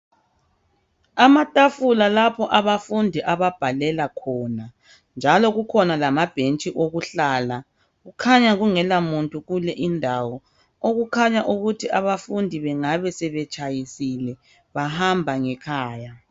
Amatafula lapho abafundi ababhalela khona, njalo kukhona lama bhentshi okuhlala. Kukhanya kungena muntu kuleyi indawo, okukhaya ukuthi abafundi bengabe sebetshayisile bahamba ngekhaya.